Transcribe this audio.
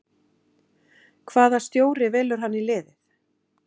Hvaða stjóri velur hann í liðið?